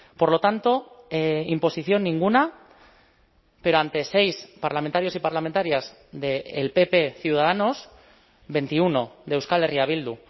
por lo tanto imposición ninguna pero ante seis parlamentarios y parlamentarias del pp ciudadanos veintiuno de euskal herria bildu